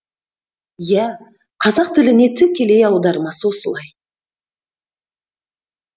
иә қазақ тіліне тікелей аудармасы осылай